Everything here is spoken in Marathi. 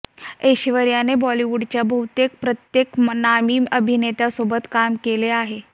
ऐश्वर्याने बॉलिवूडच्या बहुतेक प्रत्येक नामी अभिनेत्यासोबत काम केलं आहे